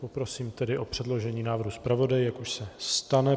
Poprosím tedy o předložení návrhu zpravodaji, jak už se stane.